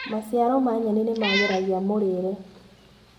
Maciaro ma nyeni nĩmagĩragia mũrĩire.